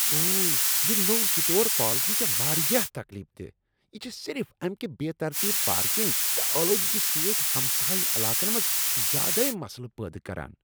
اوہ! یہ نوٚو سٹور پالیسی چھےٚ واریاہ تکلیف دہ۔ یہ چھ صرف امکہ بے ترتیب پارکنگ تہٕ آلودگی سۭتۍ ہمسایہ علاقن منٛز زیادٕ مسلہٕ پٲدٕ کران۔